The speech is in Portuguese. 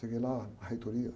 Seguei lá na reitoria.